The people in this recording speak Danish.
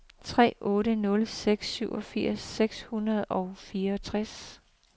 tre otte nul seks syvogfirs seks hundrede og fireogtres